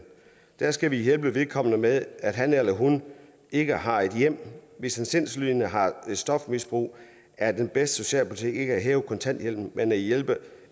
der skal vi hjælpe vedkommende med at han eller hun ikke har et hjem hvis en sindslidende har et stofmisbrug er den bedste socialpolitik ikke at hæve kontanthjælpen men at hjælpe